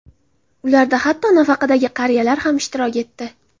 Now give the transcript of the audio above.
Ularda hatto nafaqadagi qariyalar ham ishtirok etdi.